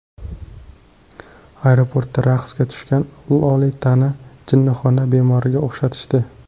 Aeroportda raqsga tushgan Lolitani jinnixona bemoriga o‘xshatishdi .